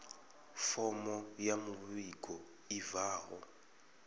fomo ya muvhigo i bvaho